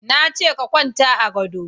Na ce ka kwanta a gado